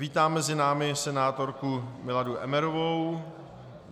Vítám mezi námi senátorku Miladu Emmerovou.